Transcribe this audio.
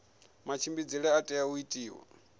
matshimbidzele a tea u itiwa